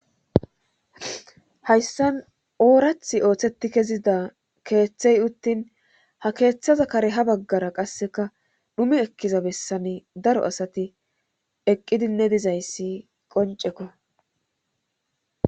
Hayssan oorath ooththetti kezida keeththey uttin ha keeththaza kare ha baggara qasseka dhumi ekkiza bessani daro asati eqqidinne dizayssi qoncekko.